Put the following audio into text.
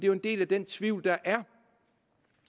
jo en del af den tvivl der er